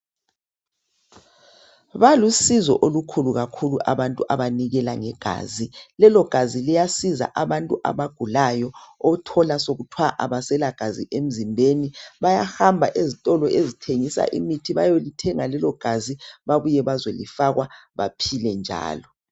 Balusizo olukhulu kakhulu abantu abanikela ngegazi, lelogazi liyasiza abantu abagulayo, othola sekuthwa abaselagazi emzimbeni. Bayahamba ezitolo ezithengisa imithi, bayolithenga lelogazi, babuye bazolifakwa, baphile njalo.